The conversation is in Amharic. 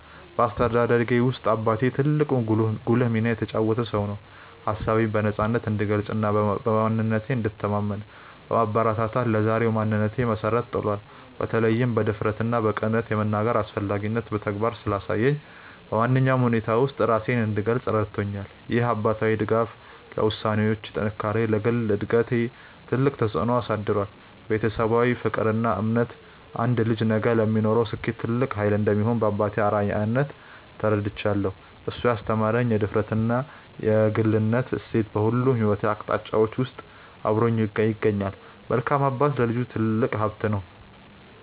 በአስተዳደጌ ውስጥ አባቴ ትልቅና ጉልህ ሚና የተጫወተ ሰው ነው። ሀሳቤን በነፃነት እንድገልጽና በማንነቴ እንድተማመን በማበረታታት ለዛሬው ማንነቴ መሰረት ጥሏል። በተለይም በድፍረትና በቅንነት የመናገርን አስፈላጊነት በተግባር ስላሳየኝ፣ በማንኛውም ሁኔታ ውስጥ ራሴን እንድገልጽ ረድቶኛል። ይህ አባታዊ ድጋፍ ለውሳኔዎቼ ጥንካሬና ለግል እድገቴ ትልቅ ተጽዕኖ አሳድሯል። ቤተሰባዊ ፍቅርና እምነት አንድ ልጅ ነገ ለሚኖረው ስኬት ትልቅ ኃይል እንደሚሆን በአባቴ አርአያነት ተረድቻለሁ። እሱ ያስተማረኝ የድፍረትና የግልነት እሴት በሁሉም የሕይወት አቅጣጫዎቼ ውስጥ አብሮኝ ይገኛል። መልካም አባት ለልጁ ትልቅ ሀብት ነው።